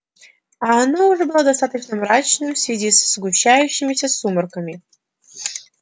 а оно уже было достаточно мрачным в связи со сгущающимися сумерками